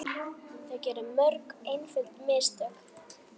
Þeir gerðu mörg einföld mistök.